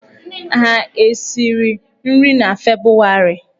Ha esiri nri na Febụwarị?